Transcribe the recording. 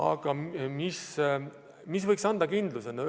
Aga mis võiks anda kindluse?